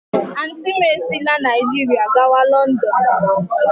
Auntị m esila Naijiria gawa Lọndọn.